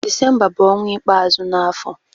Disemba bu onwa ikpeazu n'afo.